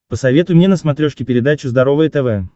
посоветуй мне на смотрешке передачу здоровое тв